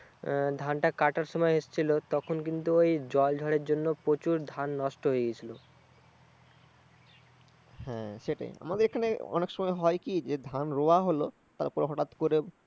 ধানটা কাটার সময় এসছিলো তখন কিন্তু ঐ জলঝড়ের জন্য প্রচুর ধান নষ্ট হয়ে গেছিল। আমাদের এখানে অনেক সময় হয় কি? ধান রোয়া হলো, তারপর হঠাৎ করে